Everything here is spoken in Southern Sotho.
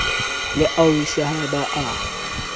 le ausi ha ba a